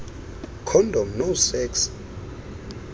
condom no sex